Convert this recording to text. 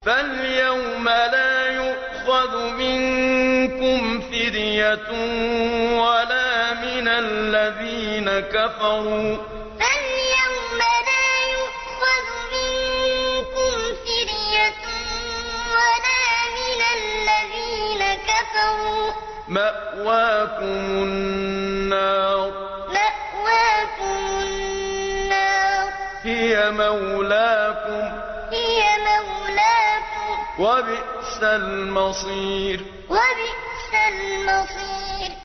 فَالْيَوْمَ لَا يُؤْخَذُ مِنكُمْ فِدْيَةٌ وَلَا مِنَ الَّذِينَ كَفَرُوا ۚ مَأْوَاكُمُ النَّارُ ۖ هِيَ مَوْلَاكُمْ ۖ وَبِئْسَ الْمَصِيرُ فَالْيَوْمَ لَا يُؤْخَذُ مِنكُمْ فِدْيَةٌ وَلَا مِنَ الَّذِينَ كَفَرُوا ۚ مَأْوَاكُمُ النَّارُ ۖ هِيَ مَوْلَاكُمْ ۖ وَبِئْسَ الْمَصِيرُ